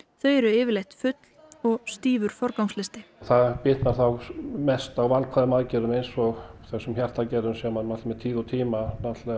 þau eru yfirleitt full og stífur forgangslisti það bitnar þá mest á valkvæðum aðgerðum eins og þessum hjartaaðgerðum sem með tíð og tíma